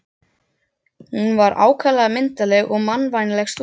Hún var ákaflega myndarleg og mannvænleg stúlka.